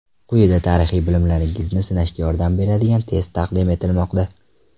Quyida tarixiy bilimlaringizni sinashga yordam beradigan test taqdim etilmoqda.